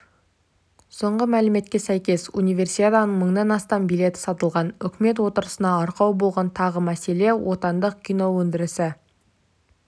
соңғы мәліметке сәйкес универсиаданың мыңнан астам билеті сатылған үкімет отырысына арқау болған тағы мәселе отандық киноөндірісі